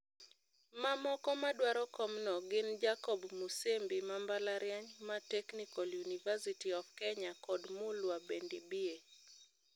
Mamoko madwaro kom no gin Jacob Musembi ma mbalariany ma Technical University of Kenya kod Mulwa Bendibbie.